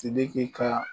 Sidiki ka